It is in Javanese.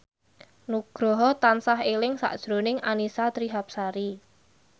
Nugroho tansah eling sakjroning Annisa Trihapsari